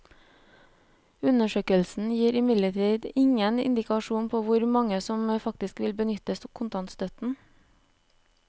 Undersøkelsen gir imidlertid ingen indikasjon på hvor mange som faktisk vil benytte kontantstøtten.